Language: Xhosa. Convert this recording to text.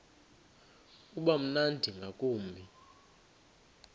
uba mnandi ngakumbi